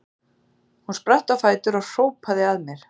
Hún spratt á fætur og hrópaði að mér